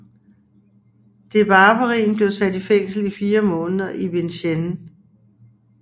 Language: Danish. Dewavrin blev sat i fængsel i fire måneder i Vincennes